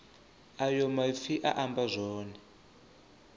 ayo maipfi a amba zwone